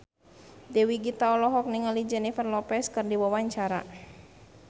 Dewi Gita olohok ningali Jennifer Lopez keur diwawancara